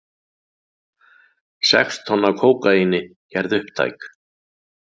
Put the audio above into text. Sex tonn af kókaíni gerð upptæk